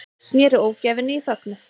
Snéru ógæfunni í fögnuð